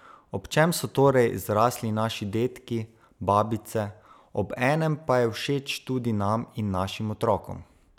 Ob čem so torej zrasli naši dedki, babice, ob enem pa je všeč tudi nam in našim otrokom?